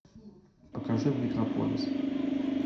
покажи микрополис